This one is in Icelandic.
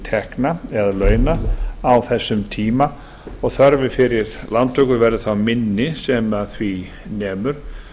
tekna eða launa á þessum tíma og þörf fyrir lántöku verður þá minni sem því nemur